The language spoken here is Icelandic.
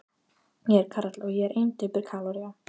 Ég er Kal, og ég er ein döpur kaloría.